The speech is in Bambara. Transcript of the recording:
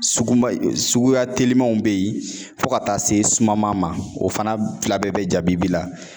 Suguba suguya telimanw be yen fo ka taa se sumaman o fana fila bɛɛ bɛ jabibi la